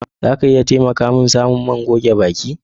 Za a iya taimaka min samun man goge baki?